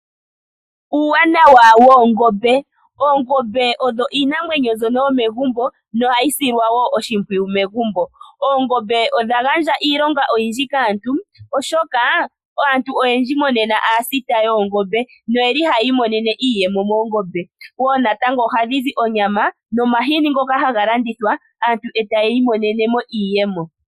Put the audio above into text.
Uuwanawa woongombe. Oongombe odho iinamwenyo mbyono yomegumbo nohayi silwa wo oshimpwiyu megumbo. Oongombe odha gandja iilonga oyindji kaantu oshoka aantu oyendji monena oyeli aasita yoongombe noyeli haya imonene iiyemo okuza moongombe wo natango ohadhizi onyama nomahini ngoka haga landithwa aantu etaya mono ko iiyemo.